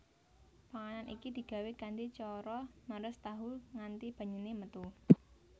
Panganan iki digawé kanthi cara meres tahu nganti banyune metu